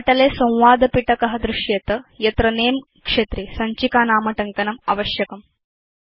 पटले संवादपिटक दृश्येत यत्र नमे क्षेत्रे सञ्चिकानामटङ्कनम् आवश्यकम्